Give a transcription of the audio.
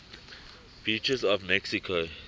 beaches of mexico